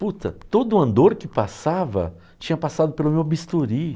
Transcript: Puta, todo o andor que passava tinha passado pelo meu bisturi.